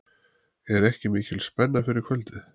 Er ekki mikil spenna fyrir kvöldið?